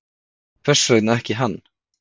Hvers vegna ekki hann?